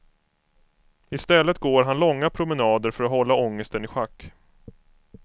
I stället går han långa promenader för att hålla ångesten i schack.